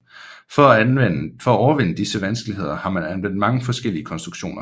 For at overvinde disse vanskeligheder har man anvendt mange forskellige konstruktioner